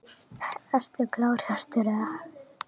Ertu klár Hjörtur eða?